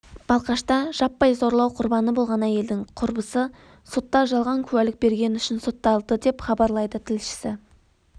балқашта жаппай зорлау құрбаны болған әйелдің құрбысы сотта жалған куәлік бергені үшін сотталды деп хабарлайды тілшісі